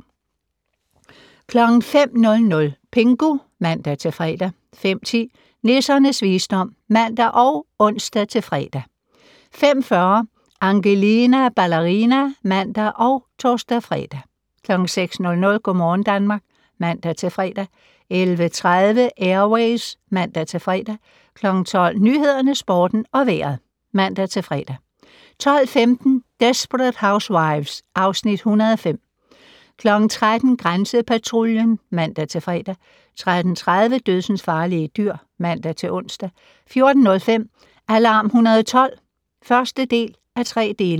05:00: Pingu (man-fre) 05:10: Nissernes visdom (man og ons-fre) 05:40: Angelina Ballerina (man og tor-fre) 06:00: Go' morgen Danmark (man-fre) 11:30: Air Ways (man-fre) 12:00: Nyhederne, Sporten og Vejret (man-fre) 12:15: Desperate Housewives (Afs. 105) 13:00: Grænsepatruljen (man-fre) 13:30: Dødsensfarlige dyr (man-ons) 14:05: Alarm 112 (1:3)